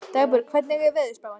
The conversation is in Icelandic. Dagbjörg, hvernig er veðurspáin?